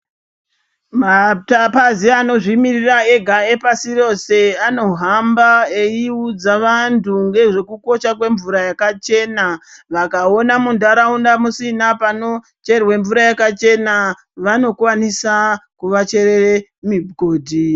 Mapazi anozvimiririra ega epashi rose anohamba eiudza vantu ngezvekukosha kwemvura yakachena. Vakaona munturaunda musina panocherwe mvura yakachena vanokwanisa kuvacherere migodhi.